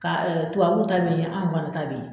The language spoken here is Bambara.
Ka tubabuw bɛ ye an fana ta bɛ ye.